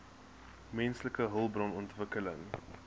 menslike hulpbron ontwikkeling